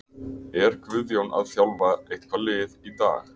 Er Guðjón að þjálfa eitthvað lið í dag?